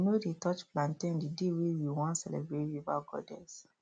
we no dey touch plantain the day wey we wan celebrate river goddess